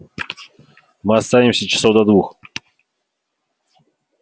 мы останемся часов до двух